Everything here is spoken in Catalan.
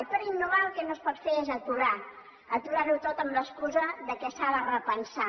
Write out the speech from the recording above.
i per innovar el que no es pot fer és aturar aturar ho tot amb l’excusa que s’ha de repensar